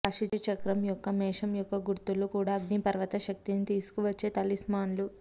రాశిచక్రం యొక్క మేషం యొక్క గుర్తులు కూడా అగ్నిపర్వత శక్తిని తీసుకువచ్చే తలిస్మాన్లు